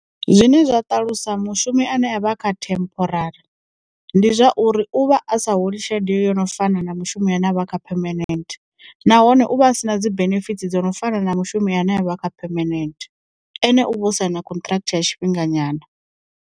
Zwine zwa ṱalusa mushumi ane a vha kha temporari, ndi zwauri uvha a sa holi tshelede yo no fana na mushumi ane avha kha phemenent, nahone u vha a si na dzi benefitsi dzo no fana na mushumi ane a vha kha phemenent, ene u vha o saina contract ya tshifhinga nyana.